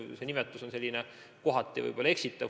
Viimane nimetus on mõnes mõttes võib-olla eksitav.